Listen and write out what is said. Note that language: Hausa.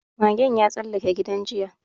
Magen ya tsallake gidan jiya